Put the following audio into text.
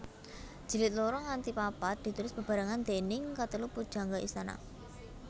Jilid loro nganti papat ditulis bebarengan déning katelu pujangga istana